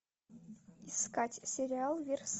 искать сериал